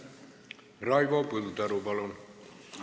Raivo Põldaru, palun!